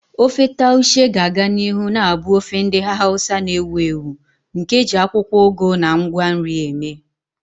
Ofe Taushe ga-aga n'ihu na-abụ ofe ndị Hausa na-ewu ewu nke e ji akwụkwọ ugu na ngwa nri eme.